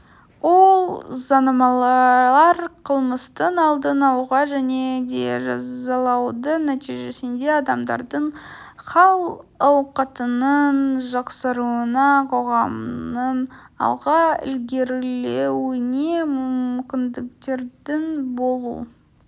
ол заңнамалар қылмыстың алдын алуға және де жазалаудың нәтижесінде адамдардың хал-ауқатының жақсаруына қоғамның алға ілгерілеуіне мүмкіндіктердің болу